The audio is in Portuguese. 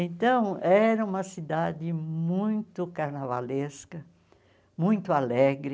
Então, era uma cidade muito carnavalesca, muito alegre.